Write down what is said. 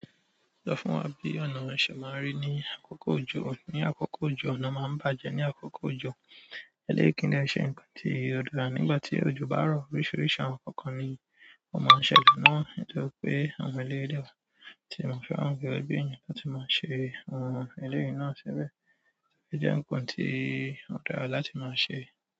Sọ fún wa bí ọ̀nà ṣe máa ń rí ní àkókò òjò. Ní àkókò òjò, ọ̀nà máa ń bàjẹ́ ní àkókò òjò. Eleyi kii dẹ se nkan ti o dára nígbà ti ojo ba rọ oríṣìíríṣìí àwọn kankan ni wọ́n máa ń ṣẹ̀lẹ̀ náà. Nítorí pé àwọn eleyi lẹ́wà tí máa ń fẹ́ àwọn ọ̀rẹ́ ẹbí wọn láti máa ṣe àwọn eleyi náà tẹlẹ. Ó jẹ́ ǹkan tí ó dára láti máa ṣe.